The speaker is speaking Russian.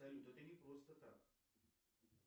салют это не просто так